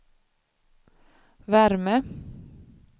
värme